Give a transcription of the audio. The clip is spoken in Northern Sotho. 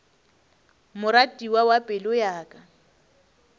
moratiwa wa pelo ya ka